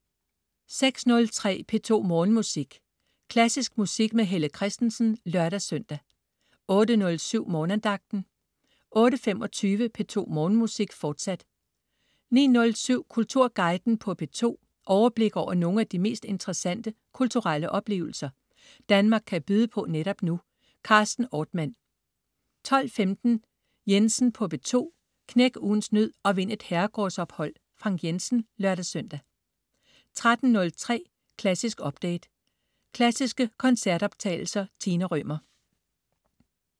06.03 P2 Morgenmusik. Klassisk musik med Helle Kristensen (lør-søn) 08.07 Morgenandagten 08.25 P2 Morgenmusik, fortsat 09.07 Kulturguiden på P2. Overblik over nogle af de mest interessante kulturelle oplevelser, Danmark kan byde på netop nu. Carsten Ortmann 12.15 Jensen på P2. Knæk ugens nød og vind et herregårdsopholdFrank Jensen (lør-søn) 13.03 Klassisk update. Klassiske koncertoptagelser. Tina Rømer